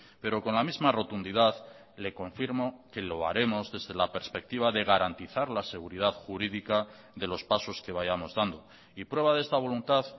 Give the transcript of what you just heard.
pero con la misma rotundidad le confirmo que lo haremos desde la perspectiva de garantizar la seguridad jurídica de los pasos que vayamos dando y prueba de esta voluntad